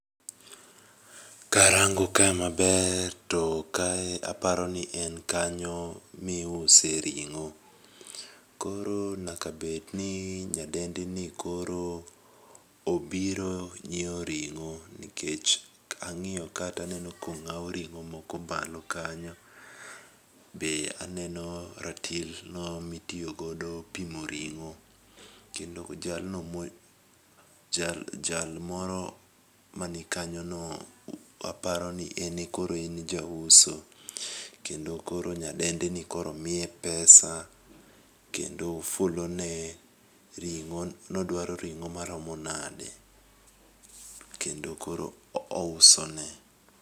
Karango ka maber to kae aparoni en kanyo miuse ring'o, koro nyaka bedni nyadendini koro obiro nyiewo ring'o nikech kang'iyo ka taneno kong'aw ring'o moko malo kanyo, be aneno ratilno mitiyo godo pimo ring'o, kendo jal moro mani kanyono, aparo ni en e koro en jauso, kendo koro nyadendini koro miye pesa kendo fulone ring'o, nodwaro ring'o maromo nade, kendo koro ousone.